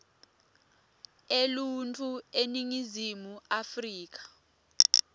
eluntfu eningizimu afrika